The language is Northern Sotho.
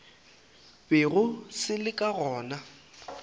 bego se le ka gona